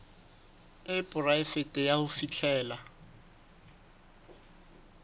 e poraefete ya ho fihlella